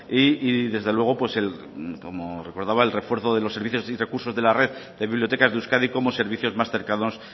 y desde luego pues como recordaba el refuerzo de los servicios y recursos de la red de bibliotecas de euskadi como servicios más cercanos